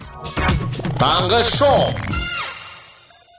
таңғы шоу